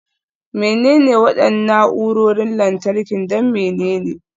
Menene waɗannan na'urorin lantarki don menene?